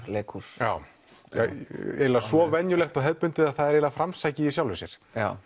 leikhús svo venjulegt og hefðbundið að það er framsækið í sjálfu sér